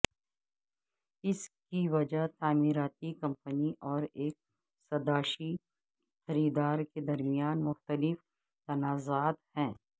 اس کی وجہ تعمیراتی کمپنی اور ایک سداشیی خریدار کے درمیان مختلف تنازعات ہیں